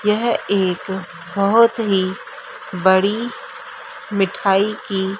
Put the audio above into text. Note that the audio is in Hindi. यह एक बहोत ही बड़ी मिठाई की--